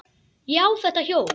Ég á þetta hjól!